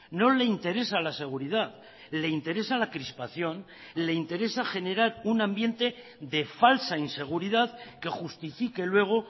no le interesa la seguridad le interesa la crispación le interesa generar un ambiente de falsa inseguridad que justifique luego